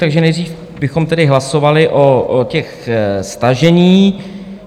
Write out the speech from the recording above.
Takže nejdřív bychom tedy hlasovali o těch staženích.